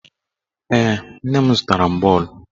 Ee, nne m zụtara m bọọlụ.